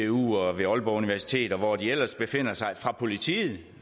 og ved aalborg universitet og hvor de ellers befinder sig og fra politiet